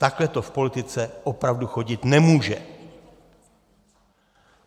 Takhle to v politice opravdu chodit nemůže.